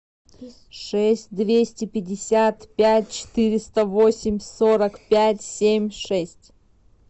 шесть двести пятьдесят пять четыреста восемь сорок пять семь шесть